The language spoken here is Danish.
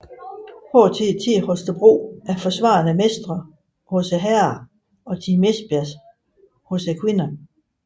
TTH Holstebro er forsvarende mestre hos herrerne og Team Esbjerg hos kvinderne